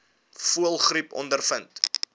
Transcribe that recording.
voëlgriep ondervind